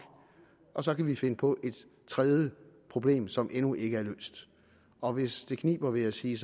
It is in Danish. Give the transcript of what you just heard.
og så kan vi finde på et tredje problem som endnu ikke er løst og hvis det kniber vil jeg sige